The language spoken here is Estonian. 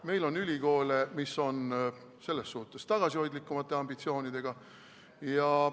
Meil on ülikoole, mis on selles suhtes tagasihoidlikumate ambitsioonidega.